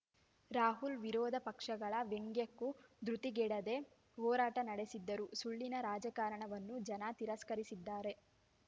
ರಾಹುಲ್‌ ವಿರೋಧ ಪಕ್ಷಗಳ ವ್ಯಂಗ್ಯಕ್ಕೂ ಧೃತಿಗೆಡದೆ ಹೋರಾಟ ನಡೆಸಿದ್ದರು ಸುಳ್ಳಿನ ರಾಜಕಾರಣವನ್ನು ಜನ ತಿರಸ್ಕರಿಸಿದ್ದಾರೆ